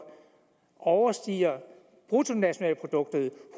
overstiger bruttonationalproduktet